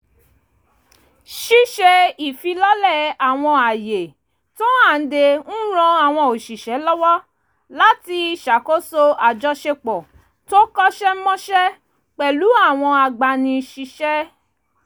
ṣíṣe ìfilọ́lẹ̀ àwọn ààyè tó hànde ń ran àwọn òṣìṣẹ́ lọ́wọ́ láti ṣàkóṣo àjọṣepọ̀ tó kọ́ṣẹ́mọṣẹ́ pẹ̀lú àwọn agbani síṣẹ́